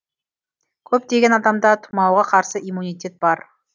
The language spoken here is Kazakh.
көптеген адамда тұмауға қарсы иммунитет бар